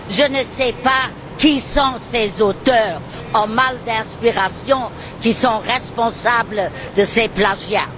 Je ne sais pas qui sont ces auteurs en mal d'inspiration, qui sont responsables de ces plagiats.